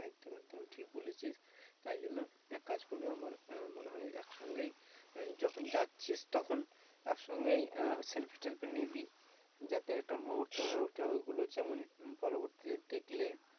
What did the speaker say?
একদম ঠিক বলেছিস তাই জন্য এক কাজ করবি আমার মনে হয় একসঙ্গেই যখন যাচ্ছিস তখন এক সঙ্গে selfie টেলফি নিবি যাতে একটা মুহূর্ত হয়ে ওঠে ওই গুলো যেমন পরবর্তীতে দেখলে